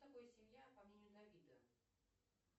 такое семья по мнению давида